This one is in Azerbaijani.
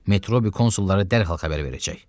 Metrobi konsullara dərhal xəbər verəcək.